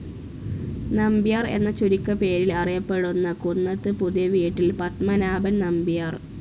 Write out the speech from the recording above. നമ്പ്യാർ എന്ന ചുരുക്കപ്പേരിൽ അറിയപ്പെടുന്ന കുന്നത്ത് പുതിയവീട്ടിൽ പത്മനാഭൻ നമ്പ്യാർ.